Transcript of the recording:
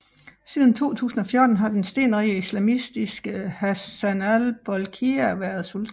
Siden 2014 har den stenrige islamistiske Hassanal Bolkiah været sultan